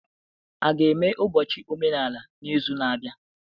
A ga-eme ụbọchị omenala n'izu na-abịa?